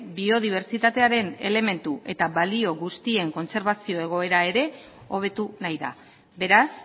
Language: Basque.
biodibertsitatearen elementu eta balio guztien kontserbazio egoera ere hobetu nahi da beraz